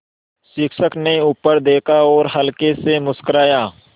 शिक्षक ने ऊपर देखा और हल्के से मुस्कराये